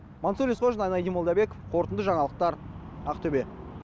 мансұр есқожин айнадин молдабеков қорытынды жаңалықтар ақтөбе